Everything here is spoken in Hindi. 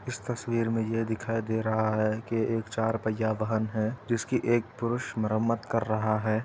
इस तस्वीर में यह दिखाई दे रहा है की एक चार पहिया वाहन है जिसकी एक पुरुष मरमत कर रहा है।